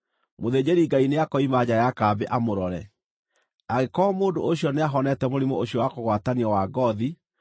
Mũthĩnjĩri-Ngai nĩakoima nja ya kambĩ amũrore. Angĩkorwo mũndũ ũcio nĩahonete mũrimũ ũcio wa kũgwatanio wa ngoothi,